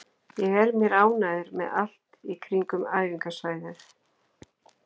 Ég er mér ánægður með allt í kringum æfingasvæðið.